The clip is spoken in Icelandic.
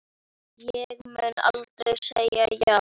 Ég mun aldrei segja já.